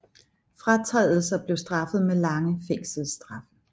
Overtrædelser blev straffet med lange fængselsstraffe